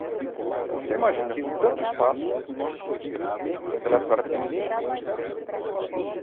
Então, você imagina, com tanto espaço... Naquela época eu era pequenininho.